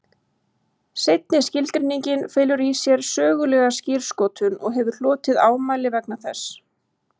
Seinni skilgreiningin felur í sér sögulega skírskotun og hefur hlotið ámæli vegna þess.